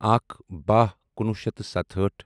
اکھ باہ کُنوُہ شیٚتھ تہٕ ستہٲٹھ